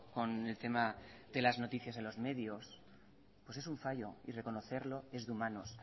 con el tema de las noticias en los medios pues es un fallo y reconocerlo es de humanos